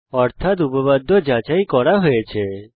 অর্থাত উপপাদ্য যাচাই করা হয়েছে